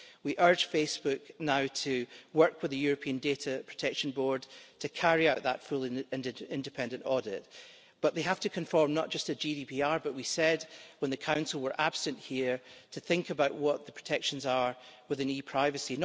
We urge Facebook now to work with the European Data Protection Board to carry out that full and independent audit, but we have to conform not just to GDPR but we said when the Council were absent here, to think about what the protections are within e privacy.